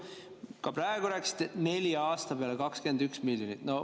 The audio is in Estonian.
Ka praegu rääkisite, et nelja aasta peale 21 miljonit.